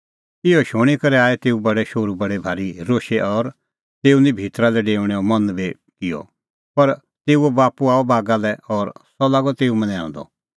इहअ शूणीं करै आई तेऊ बडै शोहरू बडी भारी रोशै और तेऊओ निं भितरा लै डेऊणेओ मन बी किअ पर तेऊओ बाप्पू आअ बागा लै और सह लागअ तेऊ मनैंऊंदअ